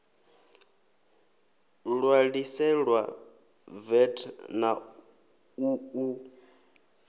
ṋwaliselwa vat na u ṱu